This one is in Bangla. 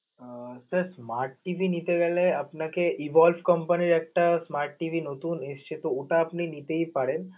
আহ sir smart TV নিতে গেলে আপনাকে Evolve company র একটা smart TV নতুন এসছে তো ওটা আপনি নিতেই পারেন.